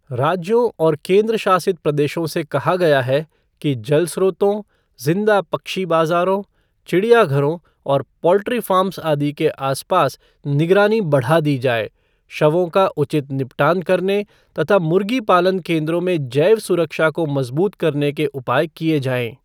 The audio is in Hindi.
राज्यों और केंद्र शासित प्रदेशों से कहा गया है कि, जल स्रोतों, ज़िंदा पक्षी बाजारों, चिड़ियाघरों और पोल्ट्री फ़ार्म्स आदि के आस पास निगरानी बढ़ा दी जाए, शवों का उचित निपटान करने तथा मुर्ग़ी पालन केंद्रों में जैव सुरक्षा को मजबूत करने के उपाय किये जाएं।